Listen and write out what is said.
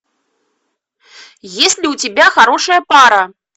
есть ли у тебя хорошая пара